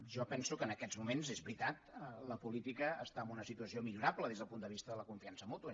jo penso que en aquests moments és veritat la política està en una situació millorable des del punt de vista de la confiança mútua